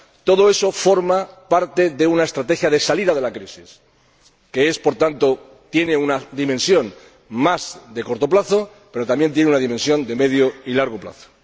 Todo eso forma parte de una estrategia de salida de la crisis, que, por tanto, tiene una dimensión más de corto plazo, pero también tiene una dimensión de medio y largo plazo.